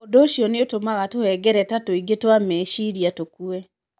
Ũndũ ũcio nĩ ũtũmaga tũhengereta tũingĩ twa meciria tũkue.